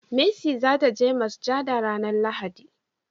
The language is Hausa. mercy za ta je masujada ranan lahadi